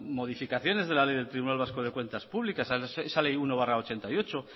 modificaciones de la ley del tribunal vasco de cuentas públicas esa ley uno barra ochenta y ocho